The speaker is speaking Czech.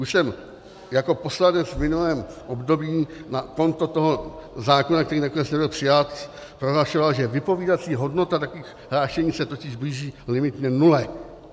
Už jsem jako poslanec v minulém období na konto toho zákona, který nakonec nebyl přijat, prohlašoval, že vypovídací hodnota takových hlášení se totiž blíží limitně nule.